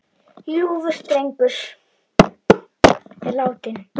Ljúfur drengur er látinn.